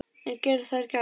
En gera þær gagn?